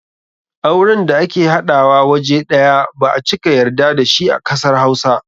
Auren da ake haɗawa waje ɗaya ba a cika yarda da shi a kasar Hausa.